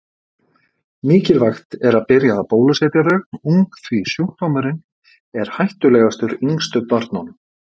Mikilvægt er að byrja að bólusetja þau ung því sjúkdómurinn er hættulegastur yngstu börnunum.